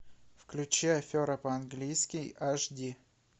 включи афера по английски аш ди